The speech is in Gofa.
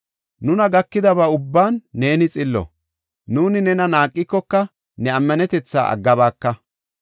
Nuna gakidaba ubban neeni xillo. Nuuni nena naaqikoka ne ammanetetha aggabaaka.